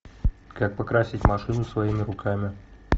как покрасить машину своими руками